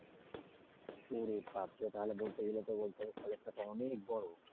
ওরে বাপরে তাহলে বলতে গেলে তো বলতে হবে কলেজটা তা অনেক বড়।